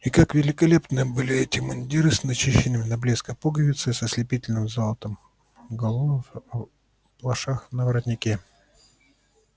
и как великолепны были эти мундиры с начищенными до блеска пуговицами с ослепительным золотом галунов на обшлагах и на воротнике